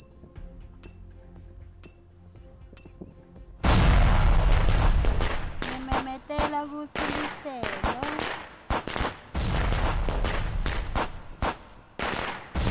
ngimemetele kutsi luhlelo